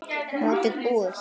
Mótið búið?